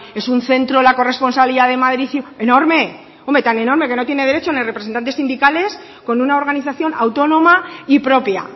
es un centro la corresponsalía de madrid enorme tan enorme que no tiene derecho ni a representantes sindicales con una organización autónoma y propia